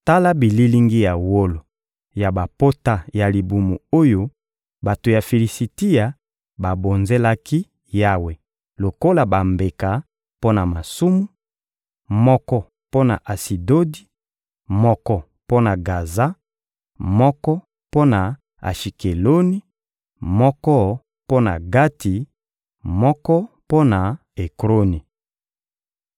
Tala bililingi ya wolo ya bapota ya libumu oyo bato ya Filisitia babonzelaki Yawe lokola bambeka mpo na masumu: moko mpo na Asidodi, moko mpo na Gaza, moko mpo na Ashikeloni, moko mpo na Gati, moko mpo na Ekroni.